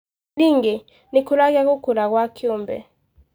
Ningĩ, gĩkũragia gũkũra gwa kĩũmbe.